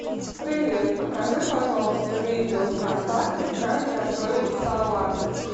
привет покажи пожалуйста видео вконтакте как готовить салат